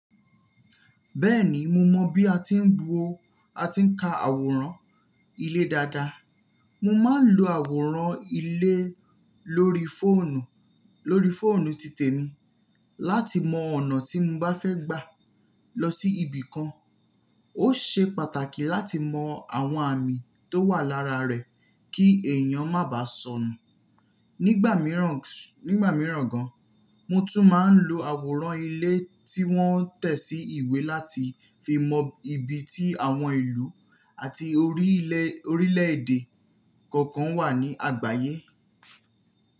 Bẹ́ẹ̀ni mo mọ̀ bí a ti ń bu o, a ti ń ka àwòrán ilé dada. Mo máa ń lo àwòrán ilé lórí fóònù, lórí fóònù titẹ̀mi, láti mọ ọ̀nà tí mo bá fẹ́ gbà lọ sí ibì kan. Ó ṣe pàtàkì láti mọ àwọn àmì tó wà lára rẹ̀ kí èèyàn má bá sọnù. Nígbà mìíràn, nígbà mìíràn gan, mo tún máa ń lo àwòrán ilé tí wọ́n tẹ̀ sí ìwé láti fi mọ ibi tí àwọn ìlú àti orílẹ̀èdè kọ̀ọ̀kan wà ní àgbáyé.